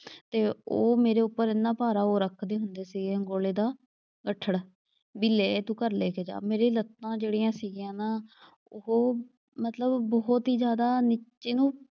ਤੇ ਉਹ ਮੇਰੇ ਉੱਪਰ ਐਨਾ ਭਾਰਾ ਉਹ ਰੱਖਦੇ ਹੁੰਦੇ ਸੀਗੇ ਅੰਗੋਲੇ ਦਾ ਬੱਠਲ। ਵੀ ਲੈ ਤੂੰ ਘਰ ਲੈ ਕੇ ਜਾ। ਮੇਰੀਆਂ ਲੱਤਾਂ ਜਿਹੜੀਆਂ ਸੀਗੀਆਂ ਨਾ, ਉਹ ਮਤਲਬ ਬਹੁਤ ਈ ਜਿਆਦਾ ਨੀਚੇ ਨੂੰ,